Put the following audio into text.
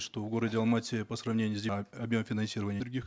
что в городе алмате по сравнению с объем финансирования других